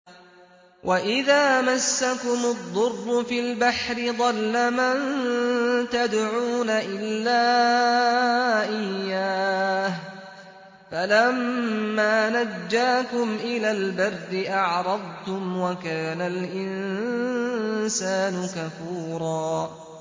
وَإِذَا مَسَّكُمُ الضُّرُّ فِي الْبَحْرِ ضَلَّ مَن تَدْعُونَ إِلَّا إِيَّاهُ ۖ فَلَمَّا نَجَّاكُمْ إِلَى الْبَرِّ أَعْرَضْتُمْ ۚ وَكَانَ الْإِنسَانُ كَفُورًا